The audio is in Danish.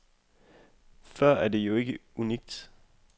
Før er det jo ikke unikt.